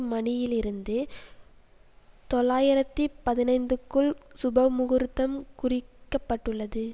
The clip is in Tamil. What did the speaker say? மணியிலிருந்து தொள்ளாயிரத்தி பதினைந்துக்குள் சுபமுகூர்த்தம் குறிக்கப்பட்டுள்ளது